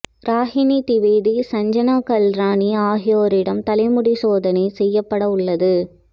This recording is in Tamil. ராகினி திவேதி மற்றும் சஞ்சனா கல்ரானி ஆகியோரிடம் தலைமுடி சோதனை செய்யப்படவுள்ளது